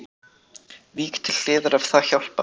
Vík til hliðar ef það hjálpar